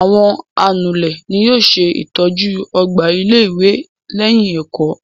Àwọn anulẹ̀ ni yóò ṣe ìtọ́jú ọgbà ilé-ìwé lẹ́yìn ẹ̀kọ́.